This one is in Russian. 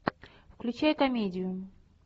включай комедию